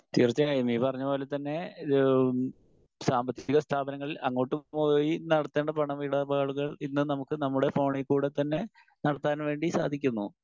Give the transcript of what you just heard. Speaker 1 തീർച്ചയായും നീ പറഞ്ഞതു പോലെ തന്നെ ഇത് സാമ്പത്തിക സ്ഥാപനങ്ങളിൽ അങ്ങോട്ടും പോയി നടത്തേണ്ട പണമിടപാടുകൾ ഇന്ന് നമുക്ക് നമ്മുടെ ഫോണിക്കൂടെ തന്നെ നടത്താൻ വേണ്ടി സാധിക്കുന്നു.